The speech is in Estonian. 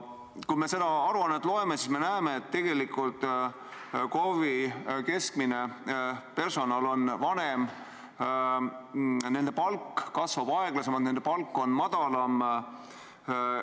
Kui me seda aruannet loeme, siis me näeme, et tegelikult KOV-ide personal on keskmisest vanem, nende palk kasvab aeglasemalt, nende palk on madalam.